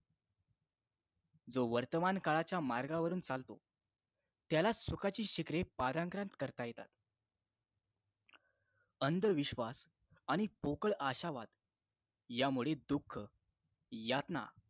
जो वर्तमान काळाच्या मार्गावरून चालतो त्यालाच सुखाची शिखरे पालांतरात करता येतात अंधविश्वास आणि पोकळ आशावाद यामुळे दुःख यातना